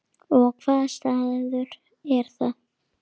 Og hvaða staður er það?